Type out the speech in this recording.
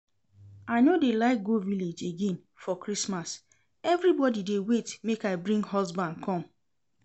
I no dey like go village again for Christmas, everybody dey wait make I bring husband come